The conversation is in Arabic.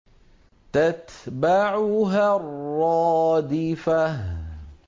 تَتْبَعُهَا الرَّادِفَةُ